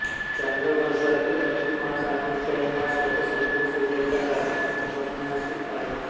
चांद्रवर्षातील अधिक मास आणि क्षयमास याचा संबंध सूर्याच्या राशिसंक्रमणाशी आहे